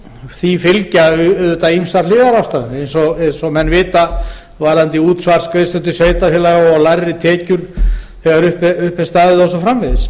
því fylgja auðvitað ýmsar hliðarráðstafanir eins og menn vita varðandi útsvarsgreiðslur til sveitarfélaga lægri tekjur þegar upp er staðið og svo framvegis